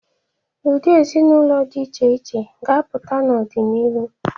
Ụdị ezinaụlọ dị iche iche ga-apụta n'ọdinihu.